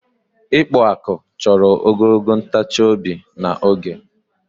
ịkpụ akpụ chọrọ ogologo ntachi obi na oge